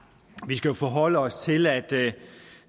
skal jo forholde os til at